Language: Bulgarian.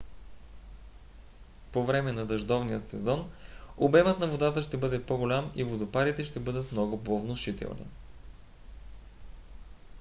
по време на дъждовния сезон от ноември до март обемът на водата ще бъде по-голям и водопадите ще бъдат много по-внушителни